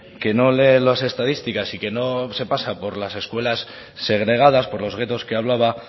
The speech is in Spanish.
que no lee las estadísticas y que no se pasa por las escuelas segregadas por los guetos que hablaba